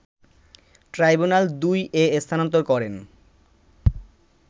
ট্রাইব্যুনাল-২ এ স্থানান্তর করেন